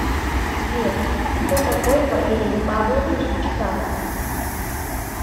сбер кто такой валерий павлович чкалов